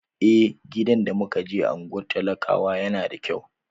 Eh, gidan da muka je a unguwar talakawa yana da kyau.